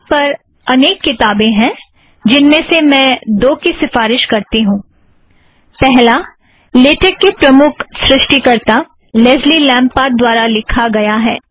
LaTeX पर अनेक किताबें हैं जिनमें से मैं दो की सिफ़ारिश करती हूँ - पहला - लेटेक के प्रमुख सृष्टिकर्त्ता लॆज़्ली लॆम्पर्ट द्वारा लिखा गया